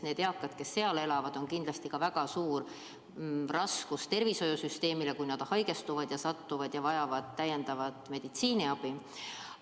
Need eakad, kes seal elavad, on kindlasti väga suur koorem tervishoiusüsteemile, kui nad haigestuvad ja vajavad täiendavat meditsiiniabi.